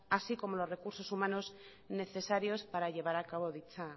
así como los recursos humanos necesarios para llevar acabo dicha